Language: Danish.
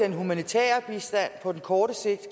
humanitære bistand på kort sigt